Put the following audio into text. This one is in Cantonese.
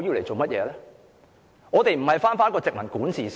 主席，我們並非回到殖民管治時期。